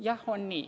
Jah, on nii.